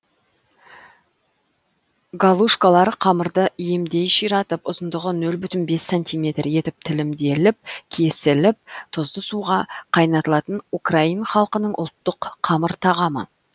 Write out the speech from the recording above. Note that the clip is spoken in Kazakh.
галушкалар қамырды иемдей ширатып ұзындығы нөл бүтін бес сантиметр етіп тілімделіп кесіліп тұзды суға қайнатылатын украин халқының ұлттық қамыр тағамы